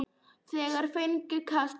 Þeir fengju kast!